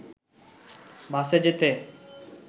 বাসে যেতে